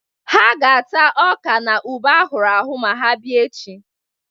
Ha ga-ata ọka na ube a hụrụ ahụ ma bịa echi.